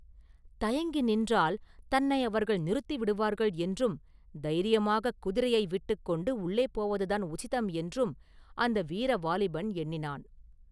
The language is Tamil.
தயங்கி நின்றால் தன்னை அவர்கள் நிறுத்திவிடுவார்கள் என்றும் தைரியமாகக் குதிரையை விட்டுகொண்டு உள்ளே போவதுதான் உசிதம் என்றும் அந்த வீர வாலிபன் எண்ணினான்.